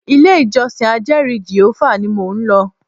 Ilé ìjọsìn ajeri Jèhófà ní mo ń lọ.